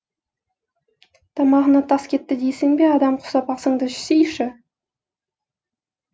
тамағына тас кетті дейсің бе адам құсап асыңды ішсейші